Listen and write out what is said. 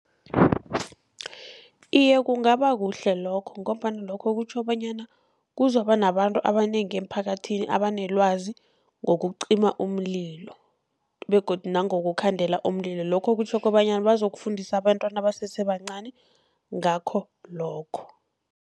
Iye, kungaba kuhle lokho ngombana lokho kutjho bonyana kuzokuba nabantu abanengi emphakathini abanelwazi ngokucima umlilo begodu nangokukhandela umlilo. Lokho kutjho kobanyana bazokufundisa abentwana abasese bancani ngakho lokho.